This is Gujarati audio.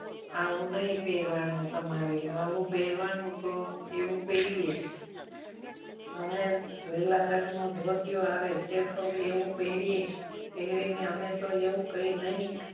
આવું નહીં પહેરવાનું તમારે આવું પહેરવાનું તો એવું પહેરીએ અમે લીલા રંગનું ધોતિયું આવે કે કોક એવું પહેરીએ પહેરીને અમે તો એવું કંઈ નહીં.